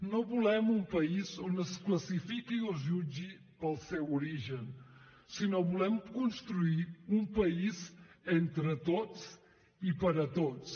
no volem un país on es classifiqui o es jutgi pel seu origen sinó que volem construir un país entre tots i per a tots